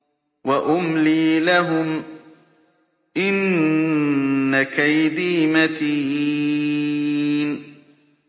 وَأُمْلِي لَهُمْ ۚ إِنَّ كَيْدِي مَتِينٌ